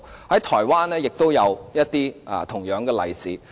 在台灣也有同樣的例子。